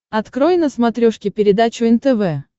открой на смотрешке передачу нтв